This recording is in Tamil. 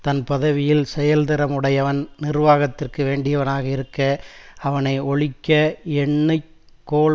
தன் பதவியில் செயல்திறம் உடையவன் நிர்வாகத்திற்கு வேண்டியவனாக இருக்க அவனை ஒழிக்க எண்ணி கோள்